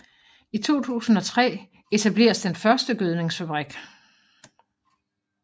I 2003 etableres den første gødningsfabrik